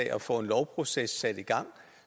og få en lovproces sat i gang